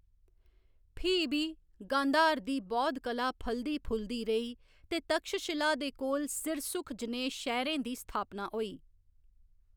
फ्ही बी, गांधार दी बौद्ध कला फलदी फुलदी रेही ते तक्षशिला दे कोल सिरसुख जनेह् शैह्‌‌‌रें दी स्थापना होई।